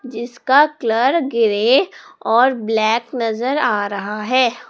जिसका colour grey और black नजर आ रहा है।